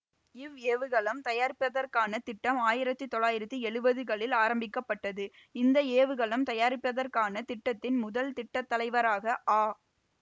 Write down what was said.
இவ் ஏவுகலம் தயாரிப்பதற்கான திட்டம் ஆயிரத்தி தொள்ளாயிரத்தி எழுவதுகளில் ஆரம்பிக்க பட்டது இந்த ஏவுகலம் தயாரிப்பதற்கான திட்டத்தின் முதல் திட்டத்தலைவராக ஆ